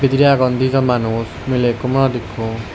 buji agon dijon manus miley ikko morot ikko.